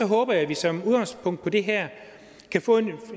håber jeg at vi som udgangspunkt i det her kan få